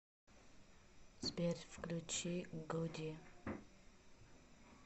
сбер включи гуди